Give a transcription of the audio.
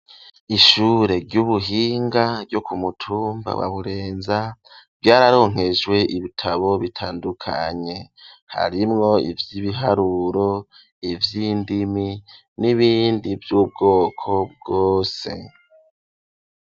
Ishure ry'ubuhinga ryo ku mutumba wa burenza vyararonkejwe ibitabo bitandukanye harimwo ivyibiharuro, ivyindimi n'ibindi vy'ubwoko bwose.